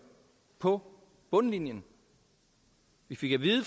på bundlinjen vi fik at vide